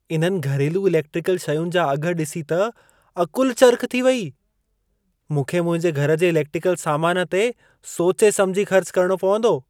इन्हनि घरेलू इलेक्ट्रिकल शयुनि जा अघि ॾिसी त अक़ुलु चरिख़ु थी वेई।। मूंखे मुंहिंजे घर जे इलेक्टिकल सामान ते सोचे समिझी ख़र्च करणो पवंदो।